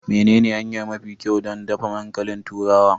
Menene hanya mafi kyau don dafa dankalin turawa?